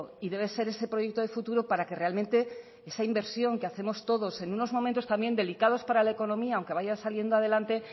y debe ser ese proyecto de futuro para que realmente esa inversión que hacemos todos en unos momentos también delicados para la economía aunque vaya saliendo adelante